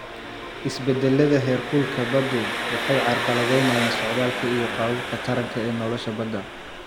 Isbeddellada heerkulka baddu waxay carqaladeynayaan socdaalka iyo qaababka taranka ee nolosha badda.